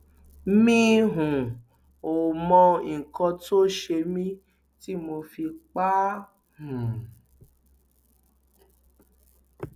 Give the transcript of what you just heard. mi um ò mọ nǹkan tó ṣe mí tí mo fi pa á um